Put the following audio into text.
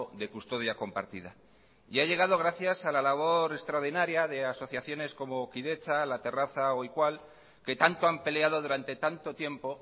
de custodia compartida y ha llegado gracias a la labor extraordinaria de asociaciones como kidetza la terraza o iqual que tanto han peleado durante tanto tiempo